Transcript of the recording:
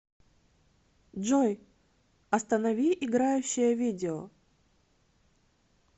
джой останови играющее видео